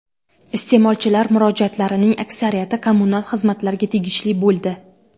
Iste’molchilar murojaatlarining aksariyati kommunal xizmatlarga tegishli bo‘ldi.